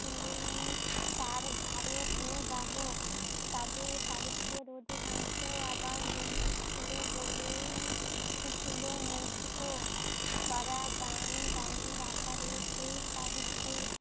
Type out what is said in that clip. ছিলেন তার ধারক ও বাহক, তাদের সাহিত্যের অধিকাংশ আবার লৌখিক ছিল বলেন ছিল মৌখিক ও ছড়া গান আকারের সেই সাহিত্য